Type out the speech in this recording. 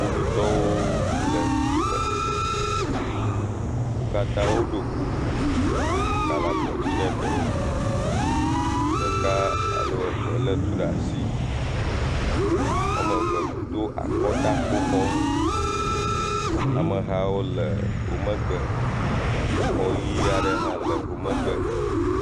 Kpovitɔwo le flime. Ame aɖewo ɖɔ kuku. Eka le abo dzi na eɖewo. Ɖeka alo eve le etu ɖe asi. Wòame eve Do akɔtakpoxɔnu. Amehawo le wò megbe. Exɔ ɣi aɖe hã le wò megbe.